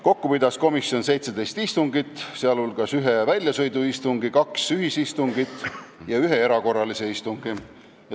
Kokku pidas komisjon 17 istungit, sh ühe väljasõiduistungi, kaks ühisistungit ja ühe erakorralise istungi.